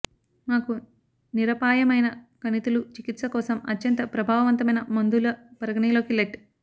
మాకు నిరపాయమైన కణితులు చికిత్స కోసం అత్యంత ప్రభావవంతమైన మందులు పరిగణలోకి లెట్